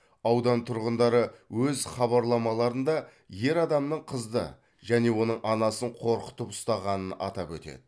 аудан тұрғындары өз хабарламаларында ер адамның қызды және оның анасын қорқытып ұстағанын атап өтеді